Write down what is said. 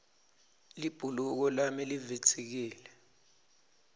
libhuluko lami livitsikile